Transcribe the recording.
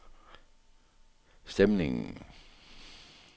stemningen